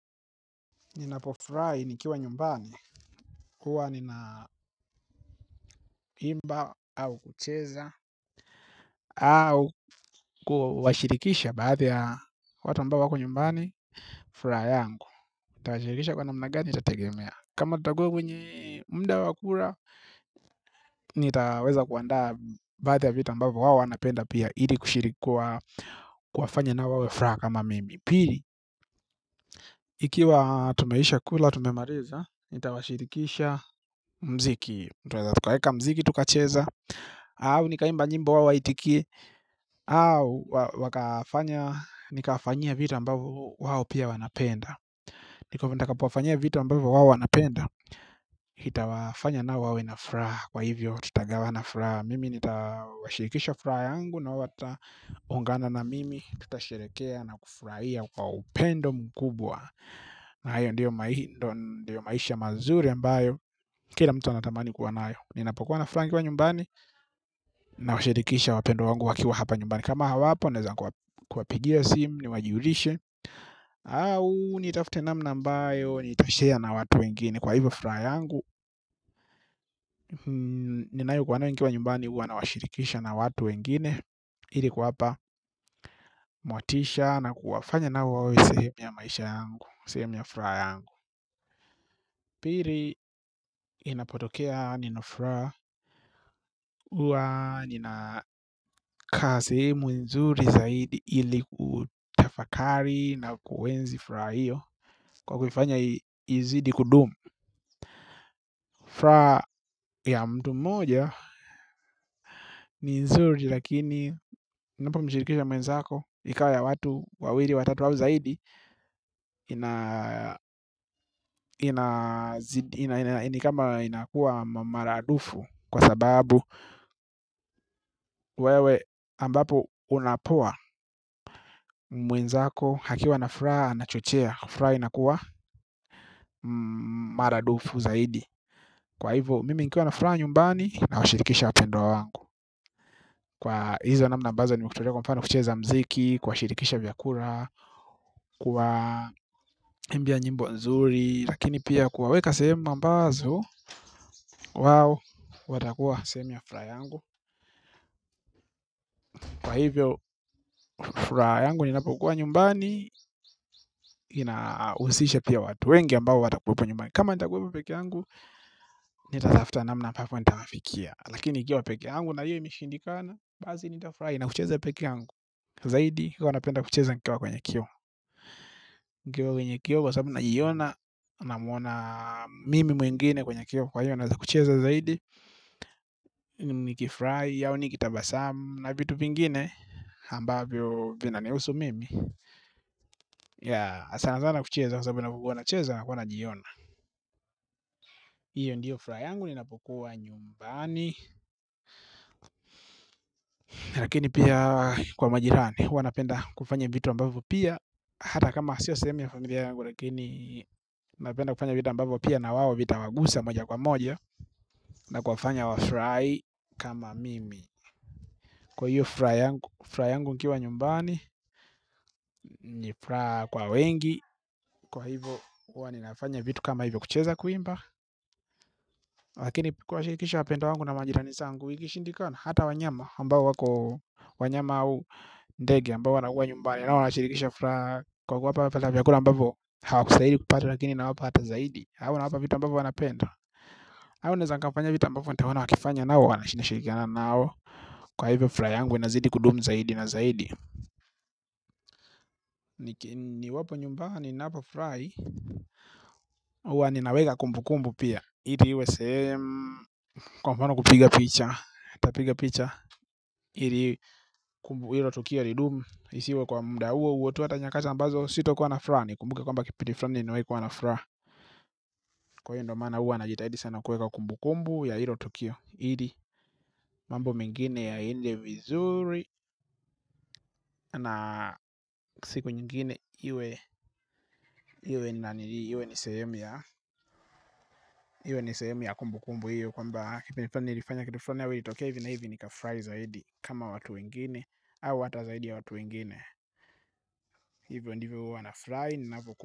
Ninapofurahi nikiwa nyumbani, huwa ninaimba au kucheza. Au kuwashirikisha baada ya watu ambao wako nyumbani, furaha yangu. Nitawashirikisha kwa namna gani, itategemea. Kama tutukua kwenye mda wa kura, nitaweza kuandaa baadhi ya vitu ambavyo wao wanapenda pia ili kushiriki kwa kufanya nao wawe furaha kama mimi. Pili, ikiwa tumeshakula, tumemaliza, nitawashirikisha mziki tutaweza tukaeka mziki tukacheza au nikaimba nyimbo au aitikie au wakafanya nikafanyia vitu ambavyo wao pia wanapenda nikatapo wakafanyia vitu ambavyo hao wanapenda itawafanya nao wawe na furaha kwa hivyo tutagawa na furaha mimi nitawashirikisha furaha yangu nao wataungana na mimi tutasherekea na kufurahia kwa upendo mkubwa na hayo ndio maisha mazuri ambayo kila mtu anatamani kuwa nayo. Ninapokuwa na furaha nikiwa nyumbani. Nawashirikisha wapendwa wangu wakiwa hapa nyumbani. Kama hawapo naeza kuwapigia simu. Niwajulishe au nitafte namna ambayo nitashare na watu wengine. Kwa hivyo furaha yangu. Ninayokuwa nayo nikiwa nyumbani huwa nawashirikisha na watu wengine ili kuwapa motisha na kuwafanya nao wawe sehemu ya maisha yangu sehemu ya furaha yangu. Pili inapotokea nina furaha huwa ninakaa sehemu nzuri zaidi ili kutafakari na kuenzi furaha hiyo kwa kuifanya izidi kudumu. Furaha ya mtu mmoja ni nzuri lakini unapomhirikisha mwenzako ikawa ya watu wawili watatu au zaidi ina ina nikama inakuwa maradufu kwa sababu wewe ambapo unapoa mwenzako akiwa na furaha na chochea. Furaha inakuwa maradufu zaidi. Kwa hivyo mimi nikiwa na furaha nyumbani. Nawashirikisha wapendwa wangu. Kwa hizo namna ambazo nimekutolea kwa mfano kucheza mziki kuwashirikisha vyakula kuwaimbia nyimbo nzuri. Lakini pia kuwaweka sehemu ambazo wao, watakuwa sehemu ya furaha yangu. Kwa hivyo, furaha yangu ninapokuwa nyumbani. Inahusisha pia watu wengi ambao watakuwepo nyumbani. Kama nitakuwepo pekee yangu. Nitatafuta namna ampapo nitawafikia. Lakini nikiwa pekee yangu na hiyo imishindikana. Basi nitafurahi na kucheza peke yangu. Zaidi huwa napenda kucheza nikiwa kwenye kioo. Nikiwa kwenye kioo kwa sababu naiona. Namwona mimi mwengine kwenye kioo kwa hivo. Naweza kucheza zaidi. Nikifurahi au nikitabasamu na vitu vingine ambavyo vinanihusu mimi Yea sana sana kucheza kwa sababu ninapokuwa nacheza huwa najiona. Iyo ndiyo furaha yangu ninapokuwa nyumbani. Lakini pia kwa majirani huwa napenda kufanya vitu ambavyo pia hata kama sio sehemu yangu lakini napenda kufanya vitu ambavyo pia na wao vitawagusa moja kwa moja na kufanya wafurahi kama mimi kwa hiyo furaha yangu nikiwa nyumbani ni furaha kwa wengi kwa hivo huwa ninafanya vitu kama hivyo kucheza kuimba lakini kuwashirikisha wapendwa wangu na manjirani sangu ikishindikana hata wanyama ambao wako wanyama au ndege ambao wanakuwa nyumbani nao wanashirikisha furaha. Kwa kuwapa wanapata vyakula ambavyo hawakustahili kupata lakini nawapa hata zaidi au nawapa vitu ambavo wanapenda au neza nikafanya vitu ambavyo nitaona wakifanya nao wanashirikiana nao. Kwa hivyo furaha yangu inazidi kudumu zaidi na zaidi. Niwapo nyumbani naporahi huwa ninaweka kumbukumbu pia ili iwe sehemu kwa mfano kupiga picha ntapiga picha ili kumbu hilo tukio lidumu. Isiwe kwa mda huo huo tu hata nyakati ambazo sitakwa na furaha nikumbuke kwamba kipindi fulani nimewahi kuwa na furaha kwa hiyo ndo maana huwa najitaidi sana kuweka kumbukumbu ya hilo tukio ili mambo mengine yaende vizuri na siku nyingine iwe ni sehemu ya iwe ni sehemu ya kumbukumbu hiyo kwamba nilifanya kitu fulani nilifanya kifrani au ilitokea hivi na hivi nikafurahi zaidi kama watu wengine au hata zaidi ya watu wengine hivyo ndivyo huwa nafurahi ninavyoku.